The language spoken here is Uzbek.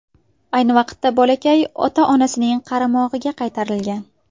Ayni vaqtda bolakay ota-onasining qaramog‘iga qaytarilgan.